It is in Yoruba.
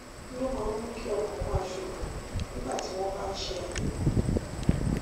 kí ló máa ń mú kí ọkàn máa ṣòfò nígbà tí wọn bá ń ṣe àyẹwò